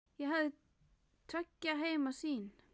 Ég hafði tveggja heima sýn.